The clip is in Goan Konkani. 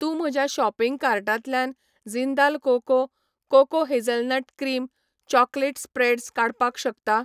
तूं म्हज्या शॉपिंग कार्टांतल्यान Jindal cocoa cocoa hazelnut cream chocolate spreads काडपाक शकता?